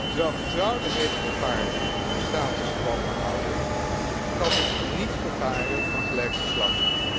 Terwijl getrouwde heteroparen hun status gewoon behouden, geldt dat dus niet voor paren van gelijk geslacht.